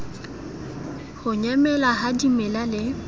ho nyamela ha dimela le